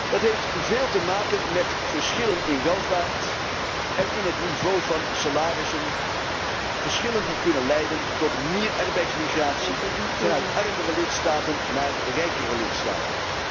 Dat heeft veel te maken met verschillen in welvaart en in het niveau van salarissen, verschillen die kunnen leiden tot meer arbeidsmigratie vanuit armere lidstaten naar rijkere lidstaten.